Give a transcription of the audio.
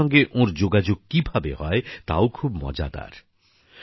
ভারতের সঙ্গে ওঁর যোগাযোগ কিভাবে হয় তাও খুব মজাদার